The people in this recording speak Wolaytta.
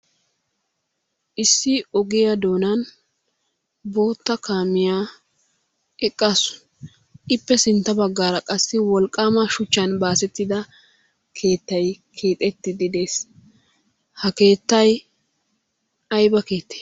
Issi ogiya doonan bootta kaamiya eqqaasu. Ippe sintta baggaara qassi wolqaama shuchchan baasettida keettay keexettiiddi des. Ha keettay ayiba keettee?